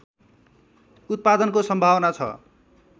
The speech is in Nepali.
उत्पादनको सम्भावना छ